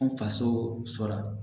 N faso la